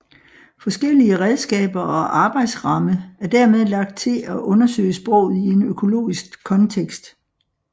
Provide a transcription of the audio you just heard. Forskellige redskaber og arbejdsramme er dermed lagt til at undersøge sproget i en økologisk kontekst